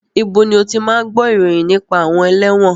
Ibo ni o ti máa ń gbó ìròyìn nípa àwọn ẹlẹ́wọ̀n?